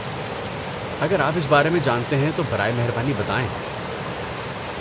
اگر آپ اس بارے میں جانتے ہیں تو براہ مہربانی بتائیں؟